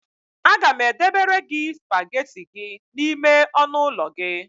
Aga m edebere gị spagetị nke gị n'ime ọnụụlọ gị